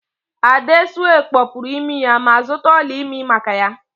Adesua kpọpụru imi ya ma zụta ọla ịmị maka ya